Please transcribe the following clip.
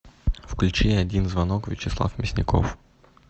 включи один звонок вячеслав мясников